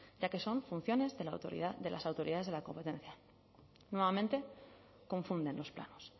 ya que son funciones de las autoridades de la competencia nuevamente confunden los planos